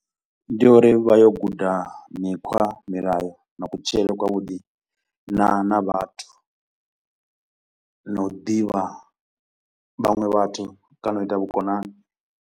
Ndi uri vha yo guda mikhwa, milayo na kutshilele kwa vhuḓi na na vhathu na u divha vhanwe vhathu kana u ita vhukonani.